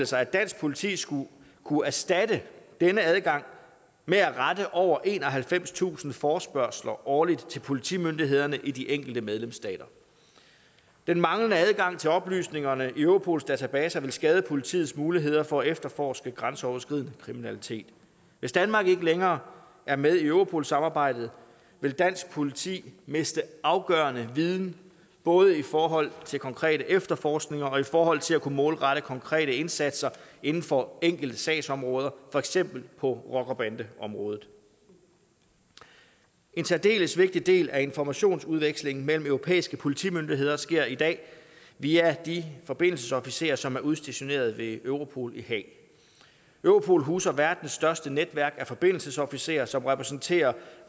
sig at dansk politi skulle kunne erstatte denne adgang med at rette over enoghalvfemstusind forespørgsler årligt til politimyndighederne i de enkelte medlemsstater den manglende adgang til oplysningerne i europols databaser vil skade politiets muligheder for at efterforske grænseoverskridende kriminalitet hvis danmark ikke længere er med i europol samarbejdet vil dansk politi miste afgørende viden både forhold til konkrete efterforskninger og i forhold til at kunne målrette konkrete indsatser inden for enkelte sagsområder for eksempel på rocker bande området en særdeles vigtig del af informationsudvekslingen mellem europæiske politimyndigheder sker i dag via de forbindelsesofficerer som er udstationeret ved europol i haag europol huser verdens største netværk af forbindelsesofficerer som repræsenterer